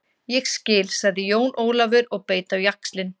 Ég skil, sagði Jón Ólafur og beit á jaxlinn.